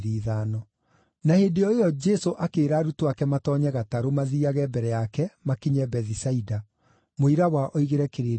Na hĩndĩ o ĩyo Jesũ akĩĩra arutwo ake matoonye gatarũ mathiiage mbere yake makinye Bethisaida, mũira wa oigĩre kĩrĩndĩ ũhoro.